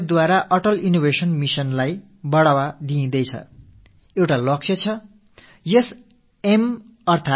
நீதி ஆணையம் இந்த அட்டால் இன்னோவேஷன் மிஷன் அடல் புதுமைகள் படைத்தல் திட்டத்துக்கு ஊக்கமளித்து வருகிறது